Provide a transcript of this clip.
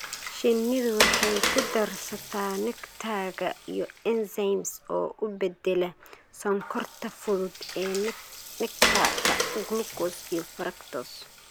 Shinnidu waxay ku darsataa nectar-ka iyo enzymes oo u beddela sonkorta fudud ee nectar-ka glucose iyo fructose.